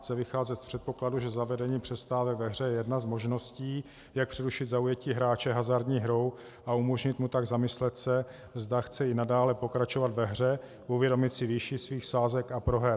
Chce vycházet z předpokladu, že zavedení přestávek ve hře je jedna z možností, jak přerušit zaujetí hráče hazardní hrou a umožnit mu tak zamyslet se, zda chce i nadále pokračovat ve hře, uvědomit si výši svých sázek a proher.